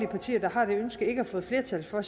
partier der har det ønske ikke har fået flertal for